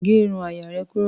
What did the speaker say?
Gé irun àyà rẹ̀ kúrò.